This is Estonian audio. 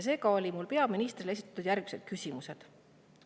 Esitasin peaministrile järgmised küsimused.